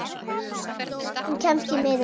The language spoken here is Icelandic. Hún kemst því miður ekki.